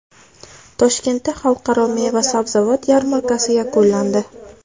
Toshkentda Xalqaro meva-sabzavot yarmarkasi yakunlandi.